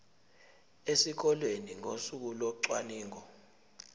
esikoleni ngosuku locwaningo